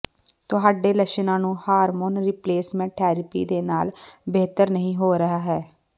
ਤੁਹਾਡੇ ਲੱਛਣਾਂ ਨੂੰ ਹਾਰਮੋਨ ਰਿਪਲੇਸਮੈਂਟ ਥੈਰੇਪੀ ਦੇ ਨਾਲ ਬਿਹਤਰ ਨਹੀਂ ਹੋ ਰਿਹਾ ਹੈ